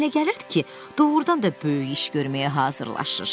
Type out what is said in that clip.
Ona elə gəlirdi ki, doğrudan da böyük iş görməyə hazırlaşır.